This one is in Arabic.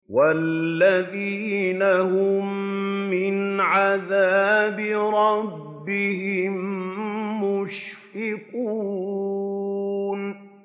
وَالَّذِينَ هُم مِّنْ عَذَابِ رَبِّهِم مُّشْفِقُونَ